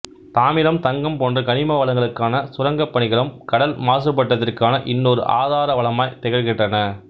தாமிரம் தங்கம் போன்ற கனிம வளங்களுக்கான சுரங்கப் பணிகளும் கடல் மாசுபாட்டிற்கான இன்னொரு ஆதாரவளமாய் திகழ்கின்றன